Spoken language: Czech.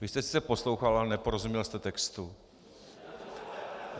Vy jste sice poslouchal, ale neporozuměl jste textu.